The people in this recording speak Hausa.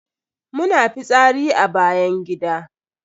Muna fitsari a bayan gida.